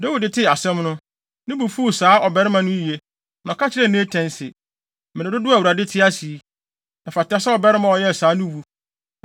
Dawid tee asɛm no, ne bo fuw saa ɔbarima no yiye, na ɔka kyerɛɛ Natan se, “Mmere dodow a Awurade te ase yi, ɛfata sɛ ɔbarima a ɔyɛɛ saa no wu.